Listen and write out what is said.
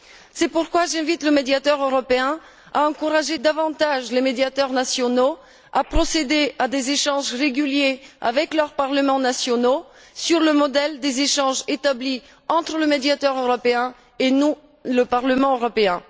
C'est pourquoi j'invite le Médiateur européen à encourager davantage les médiateurs nationaux à procéder à des échanges réguliers avec leurs parlements nationaux sur le modèle des échanges établis entre le Médiateur européen et nous, le Parlement européen.